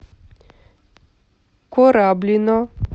кораблино